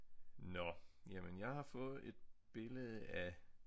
Nåh jamen jeg har fået et billede af